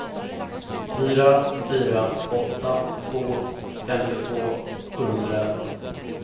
fyra fyra åtta två femtiotvå sjuhundraelva